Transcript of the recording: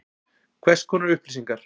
Hvers konar upplýsingar?